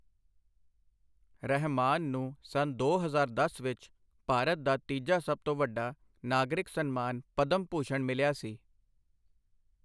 ਰਹਿਮਾਨ ਨੂੰ ਸੰਨ ਦੋ ਹਜ਼ਾਰ ਦਸ ਵਿੱਚ ਭਾਰਤ ਦਾ ਤੀਜਾ ਸਭ ਤੋਂ ਵੱਡਾ ਨਾਗਰਿਕ ਸਨਮਾਨ ਪਦਮ ਭੂਸ਼ਣ ਮਿਲਿਆ ਸੀ।